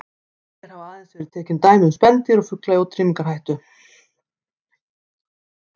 Hér hafa aðeins verið tekin dæmi um spendýr og fugla í útrýmingarhættu.